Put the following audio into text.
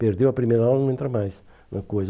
Perdeu a primeira aula, não entra mais na coisa.